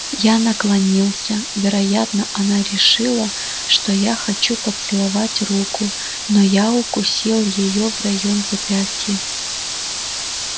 я наклонился вероятно она решила что я хочу поцеловать руку но я укусил её в район запястья